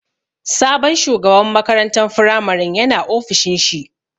Sabon shugaban makarantan firamarin ya na ofishin shi